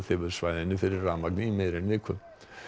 svæðinu fyrir rafmagni í meira en viku